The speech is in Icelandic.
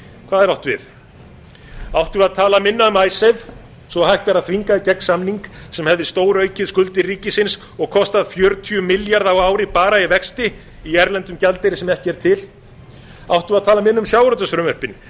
hvað er átt við áttum við að tala minna um icesave svo að hægt væri að þvinga í gegn samning sem hefði stóraukið skuldir ríkisins og kostað fjörutíu milljarða á ári bara í vexti í erlendum gjaldeyri sem ekki er til áttum við að tala minna um sjávarútvegsfrumvörpin